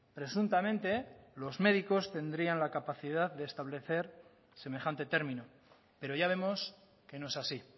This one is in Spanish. presuntamente los médicos tendrían la capacidad de establecer semejante término pero ya vemos que no es así